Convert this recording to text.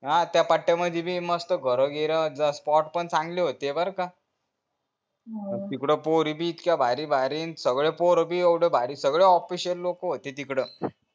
हा त्या पट्या मध्येबी मस्त घर बीर spot पण चांगले होते बर का तिकडे पोरी बी इतक्या भारी भारी सगळॆ पोर बी येवढे भारी सगळे official लोक होते तिकडं